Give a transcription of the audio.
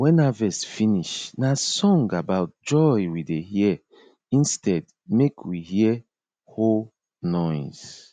when harvest finish na song about joy we dey here instead make we here hoe noise